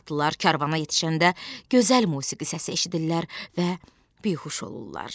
Atlılar karvana yetişəndə gözəl musiqi səsi eşidirlər və bihuş olurlar.